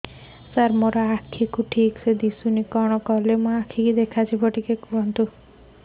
ସାର ମୋର ଆଖି କୁ ଠିକସେ ଦିଶୁନି କଣ କରିବି